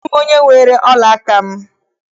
Amaghị m onye weere ọla aka m.